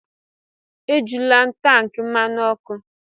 Ejula tankị mmanụ ọkụ!